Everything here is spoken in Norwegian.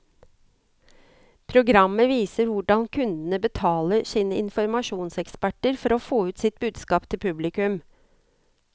Programmet viser hvordan kundene betaler sine informasjonseksperter for å få ut sitt budskap til publikum.